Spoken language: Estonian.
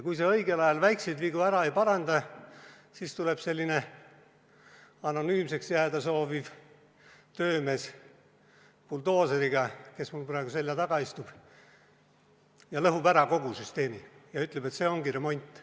Kui sa õigel ajal väikseid vigu ära ei paranda, siis tuleb anonüümseks jääda sooviv töömees buldooseriga, kes mul praegu selja taga istub, lõhub ära kogu süsteemi ja ütleb, et see ongi remont.